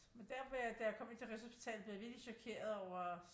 Men der hvor jeg da jeg kom ind til Rigshospitalet blev jeg virkelig chokeret over